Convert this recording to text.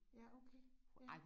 Ja okay ja